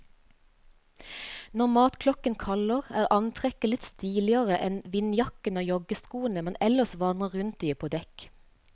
Når matklokken kaller, er antrekket litt stiligere enn vindjakkene og joggeskoene man ellers vandrer rundt i på dekk.